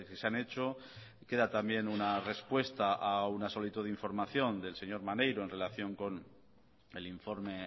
se han hecho queda también una respuesta a una solicitud de información del señor maneiro en relación con el informe